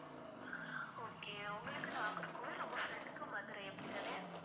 okay உங்களுக்கு நாகர்கோயில் உங்க friend க்கு மதுரை அப்படித்தானே